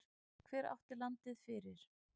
Hver átti landið fyrir?